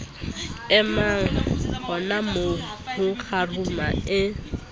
emang honamoo ho kgaruma e